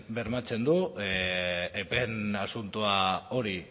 bermatzen du epeen asunto hori